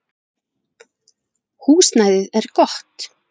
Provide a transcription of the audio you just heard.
Húsnæðið er gott.